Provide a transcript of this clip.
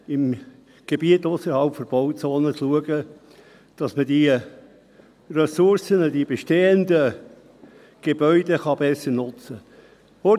in Gebieten ausserhalb von Bauzonen schauen, dass man diese Ressourcen, die bestehenden Gebäude, besser nutzen kann.